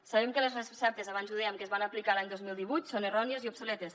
sabem que les receptes abans ho dèiem que es van aplicar l’any dos mil divuit són errònies i obsoletes